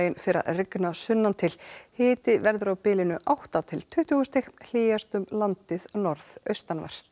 fer að rigna sunnan til hiti verður á bilinu átta til tuttugu stig hlýjast um landið norðaustanvert